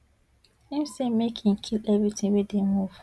im say make im kill evritin wey dey move